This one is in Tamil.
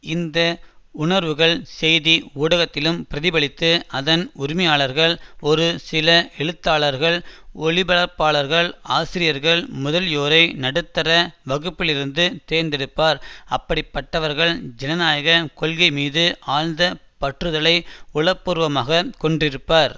இந்த உணர்வுகள் செய்தி ஊடகத்திலும் பிரதிபலித்து அதன் உரிமையாளர்கள் ஒரு சில எழுத்தாளர்கள் ஒலிபரப்பாளர்கள் ஆசிரியர்கள் முதலியோரை நடுத்தர வகுப்பிலிருந்து தேர்ந்தெடுப்பார் அப்படிப்பட்டவர்கள் ஜனநாயக கொள்கை மீது ஆழ்த பற்றுதலை உளப்பூர்வமாகக் கொண்டிருப்பர்